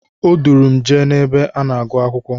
O duuru m jee n'ebe a na-agụ akwụkwọ.